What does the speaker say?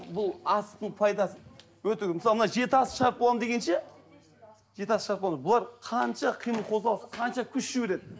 бұл асықтың пайдасы өте көп мысалы мына жеті асық шығарып боламын дегенше жеті асық бұл қанша қимыл қозғалыс қанша күш жібереді